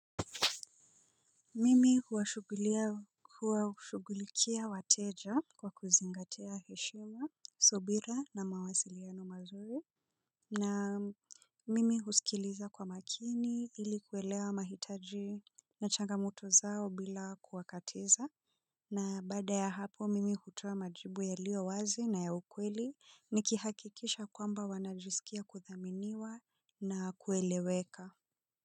Mimi huwashugulikia wateja kwa kuzingatia heshima, subira na mawasiliano mazuri na mimi husikiliza kwa makini ili kuelewa mahitaji na changamoto zao bila kuwakatiza na baada ya hapo mimi hutoa majibu yalio wazi na ya ukweli nikihakikisha kwamba wanajisikia kuthaminiwa na kueleweka.